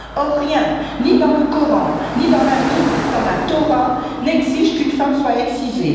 Or, rien, ni dans le Coran, ni dans la Bible, ni dans la Torah n'exige qu'une femme soit excisée.